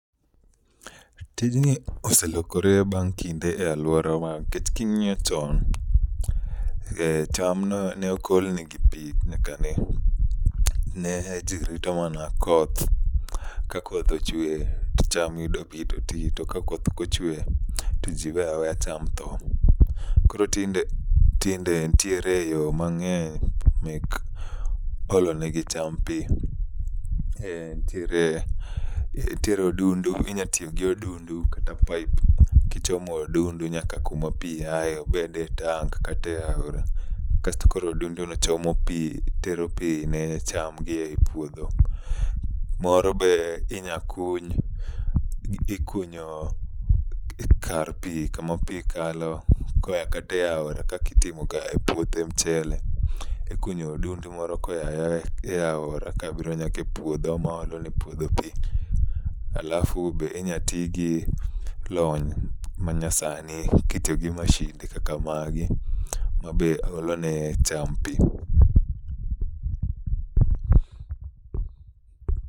Tijni oselokre bang' kinde e alworawa nikech king'iyo chon, e chamno ne ok olne gi pi nyaka ne, ne ji rito mana koth. Ka koth ochwe to cham yudo pi to ti, to ka koth okochwe to ji we aweya cham tho. Koro tinde ntiere yo mang'eny mek olonegi cham pi. Eh, ntiere ntiere odundu, inya tiyo gi odundu kata paip, kichomo odundu nyaka kuma pi aye. Obede e tank kate aora, kasto koro odundu no chomo pi tero pi ne chamgi e puodho. Moro be inya kuny, ikunyo kar pi kama pi kalo koya kate aora kakitimo ga e puothe mchele. Ikunyo odundu moro koya ayaya e aora kabiro nyake puodho maolo ne puodho pi. Alafu be inya ti gi lony ma nyasani kitityogi mashinde kaka magi mabe olone cham pi.